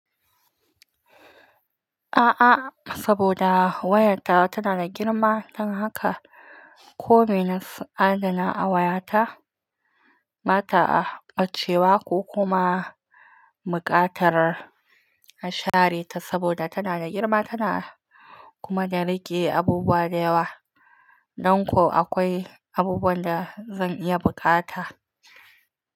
A'a saboda wayartawa tana da girma don haka komai na adana a wayata bata a cewa ko kuma buƙatar a share ta saboda tana da girma tana kuma da rage abubuwa da yawa. Don ko akwai abubuwan da zan iya buƙata.